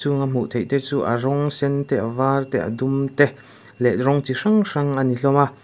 chung a hmuh theih te chu a rawng sen te a var te a dum te leh rawng chi hrang hrang ani hlawm a.